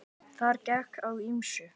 Þar gekk á ýmsu.